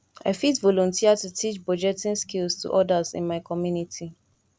i fit volunteer to teach budgeting skills to others in my community